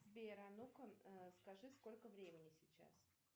сбер а ну ка скажи сколько времени сейчас